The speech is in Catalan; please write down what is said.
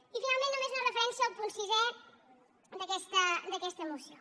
i finalment només una referència al punt sisè d’aquesta moció